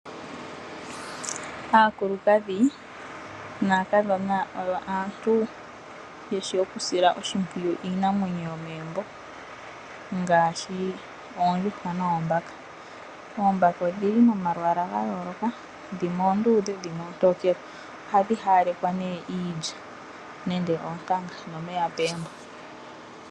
Aakulukadhi naakadhona oyo aantu yeshi okusila oshimpwiyu iinamwenyo yomegumbo ngaashi oondjuhwa noombaka. Oombaka odhi li momalwaala ga yooloka dhimwe oondudhe na dhimwe oontokele noha dhi haalekwa nee iilya nenge oontanga nomeya apuhe mpo.